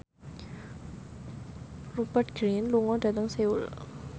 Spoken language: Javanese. Rupert Grin lunga dhateng Seoul